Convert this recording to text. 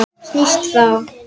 Snýst þá